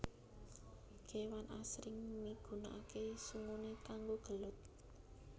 Kewan asring migunakaké sunguné kanggo gelut